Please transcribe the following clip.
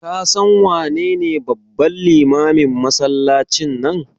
Ka san wanene babban limamin masallacin nan?